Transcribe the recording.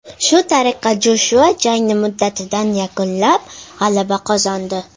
Shu tariqa Joshua jangni muddatidan yakunlab, g‘alaba qozondi.